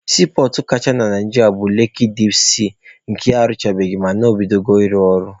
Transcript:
Siipọọtụ kachanụ na Naijiria bụ Leki dip sii nke ana-arụchabeghị mana o bidola ịrụ ọrụ.